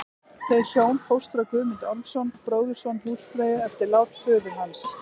Þau hjón fóstra Guðmund Ormsson, bróðurson húsfreyju, eftir lát föður hans.